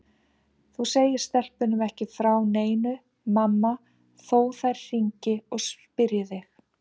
Þú segir stelpunum ekki frá neinu mamma þó þær hringi og spyrji þig.